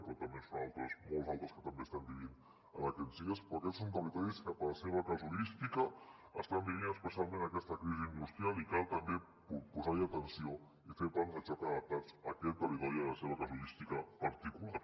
i també en són d’altres molts d’altres que també estan patint en aquests dies però aquests són territoris que per la seva casuística estan vivint especialment aquesta crisi industrial i cal també posar hi atenció i fer plans de xoc adaptats a aquests territoris i a la seva casuística particular